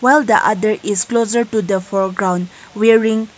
while other is closer to the foreground wearing--